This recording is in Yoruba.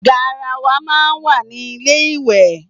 Garawa máa ń wà ní ilé íwẹ́